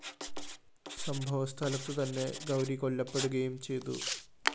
സംഭവസ്ഥലത്തു തന്നെ ഗൗരി കൊല്ലപ്പെടുകയും ചെയ്തു